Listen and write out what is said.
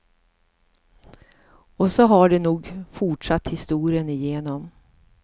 Och så har det nog fortsatt historien igenom.